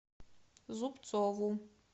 зубцову